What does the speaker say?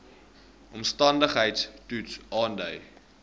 omstandigheids toets aandui